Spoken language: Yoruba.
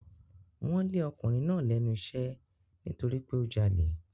Wọ́n lé ọkùnrin náà lẹ́nu iṣẹ́ nítorí pé ó jalè.